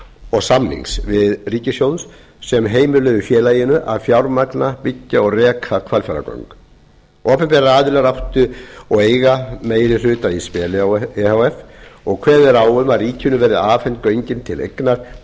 og samnings við ríkissjóð sem heimiluðu félaginu að fjármagna byggja og reka hvalfjarðargöng opinberir aðilar áttu og eiga meiri hluta í speli e h f og kveðið er á um að ríkinu verði afhent göngin til eignar